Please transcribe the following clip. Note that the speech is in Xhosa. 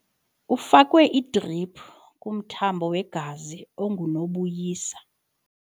Ufakwe idriphu kumthambo wegazi ongunobuyisa.